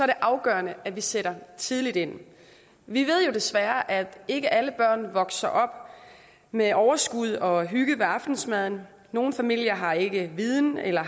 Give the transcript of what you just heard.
det afgørende at vi sætter tidligt ind vi ved jo desværre at ikke alle børn vokser op med overskud og hygge ved aftensmaden nogle familier har ikke viden eller